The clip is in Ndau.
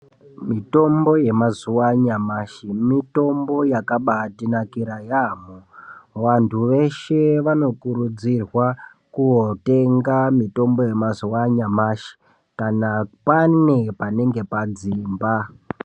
Mitombo yemazuwa anyamashi mitombo yakabatinakira yaamho. Vantu veshe vanokurudzirwa kotenga mitombo yemazuwa anyamashi kana pane panenge padzimba.